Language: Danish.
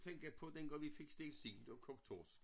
Tænke på dengang vi fik stegt sild og kogt torsk